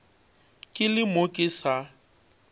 ke le mo ke sa